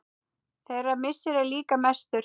Þeirra missir er líka mestur.